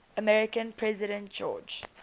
american president george